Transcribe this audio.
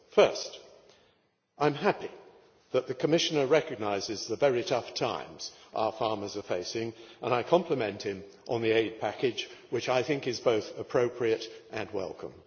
First, I am happy that the Commissioner recognises the very tough times our farmers are facing and I compliment him on the aid package, which I think is both appropriate and welcome.